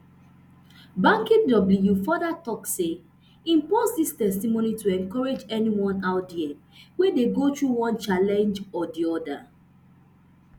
banky w further tok say im post dis testimony to encourage anyone out dia wey dey go through one challenge or di oda